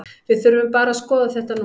Við þurfum bara að skoða þetta núna.